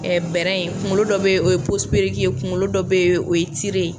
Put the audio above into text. bɛrɛ in kunkolo dɔ bɛ ye o ye ye kunkolo dɔ bɛ o ye ye.